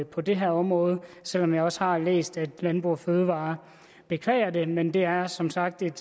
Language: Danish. på det her område selv om jeg også har læst at landbrug fødevarer beklager det men det er som sagt et